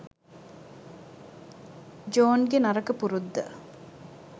ජෝන්ගේ නරක පුරුද්ද.